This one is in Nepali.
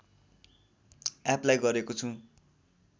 एपलाइ गरेको छु